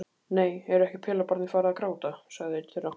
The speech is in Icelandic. Nei, er ekki pelabarnið farið að gráta, sagði einn þeirra.